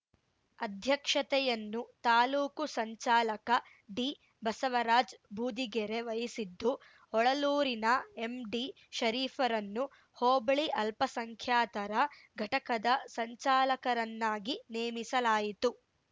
ಅಧ್ಯಕ್ಷತೆಯನ್ನು ತಾಲೂಕು ಸಂಚಾಲಕ ಡಿಬಸವರಾಜ್‌ ಬೂದಿಗೆರೆ ವಹಿಸಿದ್ದು ಹೊಳಲೂರಿನ ಎಂಡಿ ಷರೀಫ್‌ರನ್ನು ಹೋಬಳಿ ಅಲ್ಪಸಂಖ್ಯಾತರ ಘಟಕದ ಸಂಚಾಲಕರನ್ನಾಗಿ ನೇಮಿಸಲಾಯಿತು